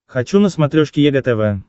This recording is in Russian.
хочу на смотрешке егэ тв